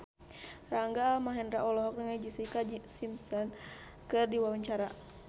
Rangga Almahendra olohok ningali Jessica Simpson keur diwawancara